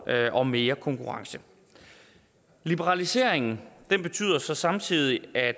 og mere konkurrence liberaliseringen betyder så samtidig at